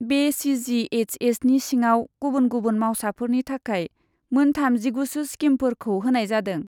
बे सि जि एइस एसनि सिङाव गुबुन गुबुन मावसाफोरनि थाखाय मोन थामजिगुसो स्किमफोरखौ होनाय जादों।